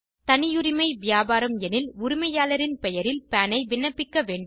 தனியுரிமை வியாபாரம் எனில் உரிமையாளரின் பெயரில் பான் ஐ விண்ணப்பிக்க வேண்டும்